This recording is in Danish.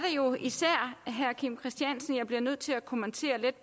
jo især herre kim christiansens tale jeg bliver nødt til at kommentere lidt